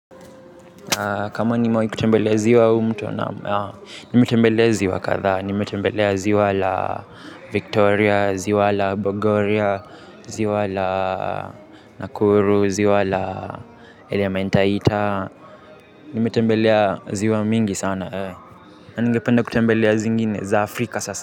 Kama nime wahi kutembelea ziwa au mto naam, nimetembelea ziwa kadhaa, nimetembelea ziwa la Victoria, ziwa la Bogoria, ziwa la Nakuru, ziwa la ElementaIta, nimetembelea ziwa mingi sana, na ngependa kutembelea zingine za Afrika sasa.